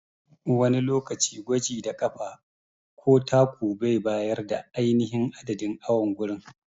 Wani lokaci gwaji da ƙafa ko taku bai bayar da ainihin adadin awon gurin.